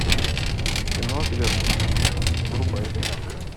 кино отверженные врубай